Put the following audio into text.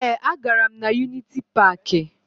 Ee, agara m na Yuniti Paakị